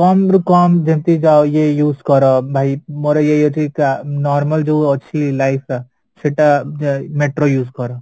କମରୁ କମ ଯେମିତି ଇଏ use କର ଭାଇ ମୋର ଇଏ ହେଇଯାଉଛି normal ଯୋଉ ଅଛି life ଟା ସେଟା metro use କର